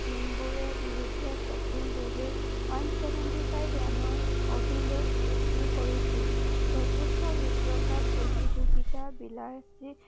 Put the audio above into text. জিম্বাৱেৰ বিৰুদ্ধে কপিল দেৱে one seventy five ৰাণৰ অভিলেষ সৃষ্টি কৰিছল চতুৰ্থ বিশ্বকাপ প্ৰতিযোগিতাৰ